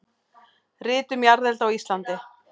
Rit um jarðelda á Íslandi.